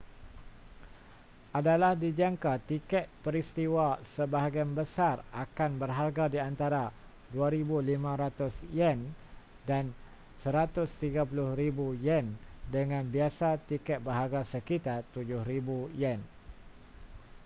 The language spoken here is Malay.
adalah dijangka tiket peristiwa sebahagian besar akan berharga di antara ¥2,500 dan ¥130,000 dengan biasa tiket berharga sekitar ¥7,000